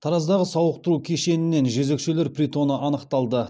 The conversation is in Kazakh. тараздағы сауықтыру кешенінен жезөкшелер притоны анықталды